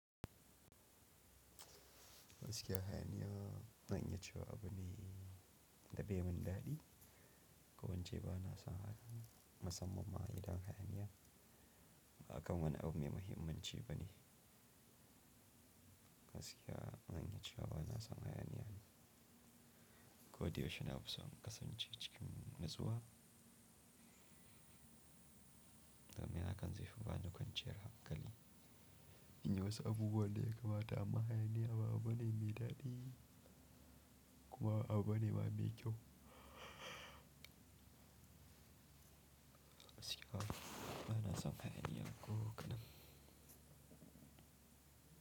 Gaskiya hayaniya, zan iya cewa abu ne da bai mun dadi, ko ince ba na san hayaniya, masamman ma idan hayaniya, ba akan wani abu mai mahimmanci ba ne. Gaskiya zan iya cewa ba na san hayaniya ni, ko da yaushe na fisan in kasance cikin natsuwa, domin hakan zai fi ba da kwanciyar hankali. In yi wasu abubuwa daya kamata, amma hayaniya ba abu bane mai dadi, kuma abu ba ne ba mai kyau, Gaskiya ba na san hayaniya ko kaɗan,